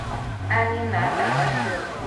Anina ndawa ciothe.